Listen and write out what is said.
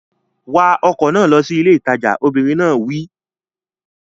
Wa ọkọ̀ náà lọ sí ilé ìtajà! Obìnrin náà wí.